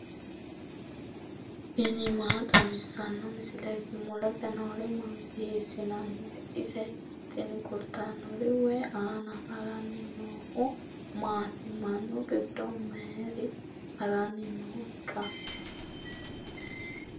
tini maa xawissanno misileeti ? mulese noori maati ? hiissinannite ise ? tini kultannori wayi aana haranni noohu maati mannu gido mayar haarnni nooikka